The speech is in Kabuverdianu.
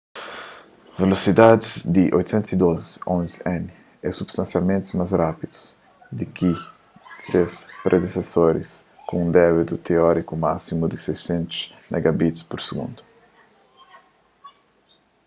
velosidadis di 802.11n é substansialmenti más rápidu di ki di se predesesoris ku un débitu téoriku másimu di 600mbit/s